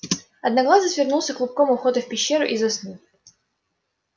одноглазый свернулся клубком у входа в пещеру и заснул